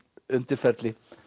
undirferli